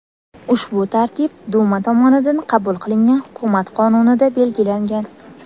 Ushbu tartib Duma tomonidan qabul qilingan hukumat qonunida belgilangan.